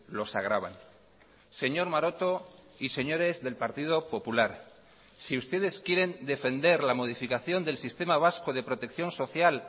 los agravan señor maroto y señores del partido popular si ustedes quieren defender la modificación del sistema vasco de protección social